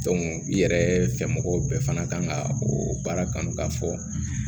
i yɛrɛ fɛ mɔgɔw bɛɛ fana kan ka o baara kanu ka fɔ